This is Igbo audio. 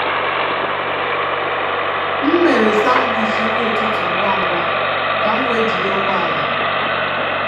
M mere sandwich nri ụtụtụ ngwa ngwa ka m wee jide ụgbọ ala.